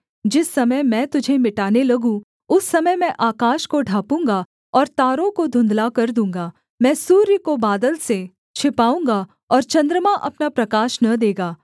जिस समय मैं तुझे मिटाने लगूँ उस समय मैं आकाश को ढाँपूँगा और तारों को धुन्धला कर दूँगा मैं सूर्य को बादल से छिपाऊँगा और चन्द्रमा अपना प्रकाश न देगा